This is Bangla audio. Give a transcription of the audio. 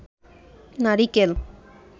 নারিকেল